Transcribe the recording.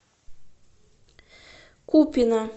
купино